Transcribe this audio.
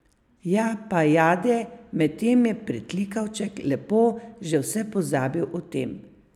Japajade, medtem je pritlikavček lepo že vse pozabil o tem.